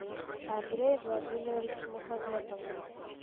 андрей владимирович мухаметов